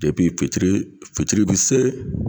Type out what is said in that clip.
Ebi fitiri fitiri bi se